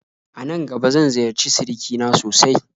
Anan gaba zan ziyarci sirikina sosai